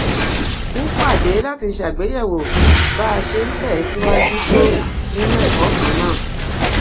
ń pàdé láti ṣàgbéyèwò bá a ṣe ń tè síwájú tó nínú èkó kan náà